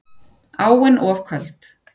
Áin of köld